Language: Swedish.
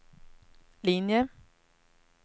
linje